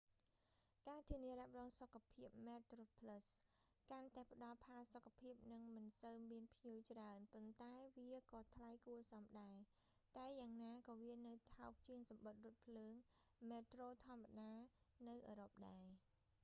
ការធានារ៉ាប់រងសុខភាពមែតត្រូផ្លឹស metroplus កាន់តែផ្តល់ផាសុកភាព និងមិនសូវមានភ្ញៀវច្រើន ប៉ុន្តែវាក៏ថ្លៃគួសមដែរ តែយ៉ាងណាក៏វានៅថោកជាងសំបុត្ររថភ្លើងមែត្រូធម្មតានៅអឺរ៉ុបដែរ